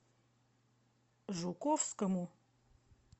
жуковскому